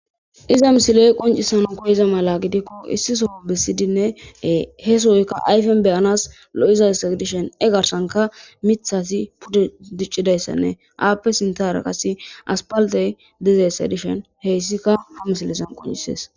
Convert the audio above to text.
Iza misiley qoncisanan koyiza mala gidikko issisoo bisidinnee he sohoykka ayfen beyanas lo7izayssa dishen e garsanka mithasi pudde diccidayssanne aappe sinta araqasi aspaltey dizeyssa dishen heyssika ha misilesan qoncisees